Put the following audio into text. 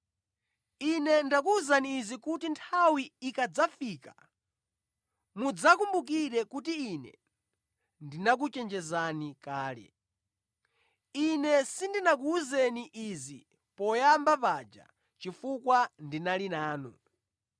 Ine ndakuwuzani izi kuti nthawi ikadzafika mudzakumbukire kuti Ine ndinakuchenjezani kale. Ine sindinakuwuzeni izi poyamba paja chifukwa ndinali nanu.”